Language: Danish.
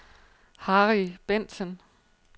Harry Bentsen